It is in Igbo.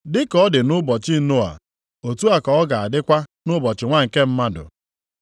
“Dị ka ọ dị nʼụbọchị Noa, otu a ka ọ ga-adịkwa nʼụbọchị Nwa nke Mmadụ.